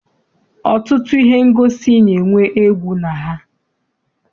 Ọtụtụ ihe ngosi na-enwe egwu na ha.